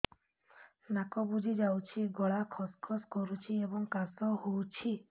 ନାକ ବୁଜି ଯାଉଛି ଗଳା ଖସ ଖସ କରୁଛି ଏବଂ କାଶ ହେଉଛି